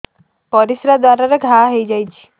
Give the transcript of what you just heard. ପରିଶ୍ରା ଦ୍ୱାର ରେ ଘା ହେଇଯାଇଛି